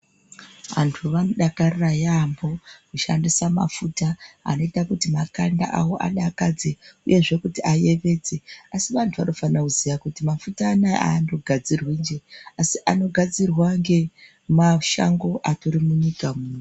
Vantu vanodakarira yamho kushandisa mafuta ,anoita kuti makanda avo adakadze uyezve kuti ayevedze .Asi vantu vanofanira kuziya kuti mafuta anaya andogadzirwinje ,asi anogadzirwa ngemashango andori munyika muno.